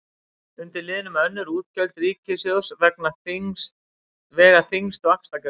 Undir liðnum önnur útgjöld ríkissjóðs vega þyngst vaxtagreiðslur.